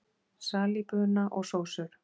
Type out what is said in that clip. Salíbuna og sósur